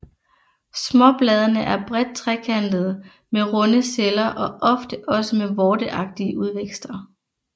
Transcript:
Småbladene er bredt trekantede med runde celler og ofte også med vorteagtige udvækster